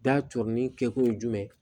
Da cori kɛkun ye jumɛn ye